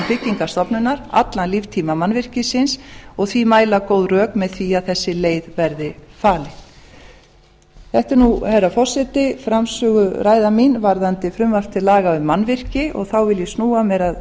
byggingarstofnunar allan líftíma mannvirkisins og því mæla góð rök með því að þessi leið verði farin þetta er nú herra forseti framsöguræða mín varðandi frumvarp til laga um mannvirki og þá vil ég snúa mér að